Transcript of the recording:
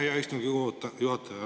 Aitäh, hea istungi juhataja!